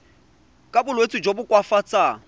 ka bolwetsi jo bo koafatsang